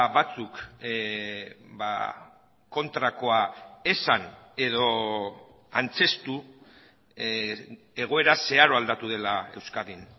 batzuk kontrakoa esan edo antzeztu egoera zeharo aldatu dela euskadin